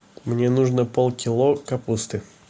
мне нужно полкило капусты